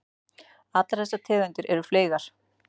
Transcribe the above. Allar þessar tegundir eru fleygar.